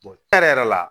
yɛrɛ la